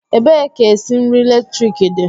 Ebee ka esi nri eletrik dị?